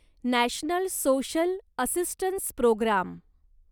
national social assistance programme